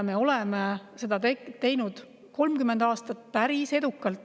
Me oleme seda teinud 30 aastat päris edukalt.